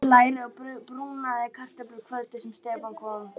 Amma steikti læri og brúnaði kartöflur kvöldið sem Stefán kom.